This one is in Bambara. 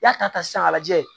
I y'a ta sisan k'a lajɛ